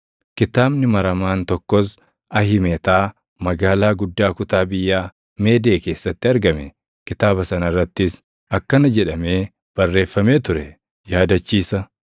Kitaabni maramaan tokkos Ahimetaa magaalaa guddaa kutaa biyyaa Meedee keessatti argame; kitaaba sana irrattis akkana jedhamee barreeffamee ture: Yaadachiisa: